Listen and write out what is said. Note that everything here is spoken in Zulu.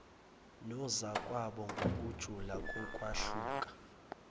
nozakwabo ngokujula kokwahluka